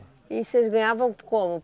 E vocês ganhavam como?